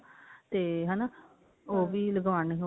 ਤੇ ਹਨਾ ਉਹ ਵੀ ਲਗਾਉਣੀ